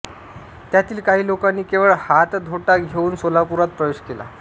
त्यातील काही लोकांनी केवळ हातधोटा घेऊन सोलापुरात प्रवेश केला